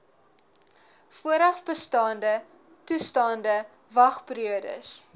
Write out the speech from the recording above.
voorafbestaande toestande wagperiodes